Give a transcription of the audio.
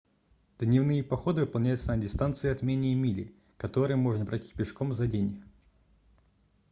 дневные походы выполняются на дистанции от менее мили которые можно пройти пешком за день